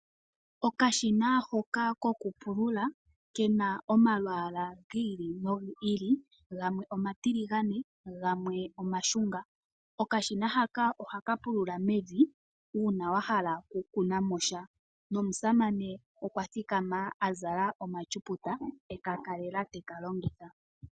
Okashina hoka kokupulula ke na omalwaala giili no giili gamwe omatiligane gamwe omashunga. Okashina haka oha ka pulula mevi uuna wa hala okukunamosha.